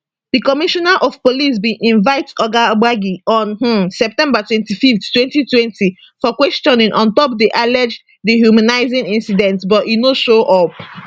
di commissioner of police bin invite oga gbagi on um september 25th 2020 for questioning on top di alleged dehumanising incident but e no show up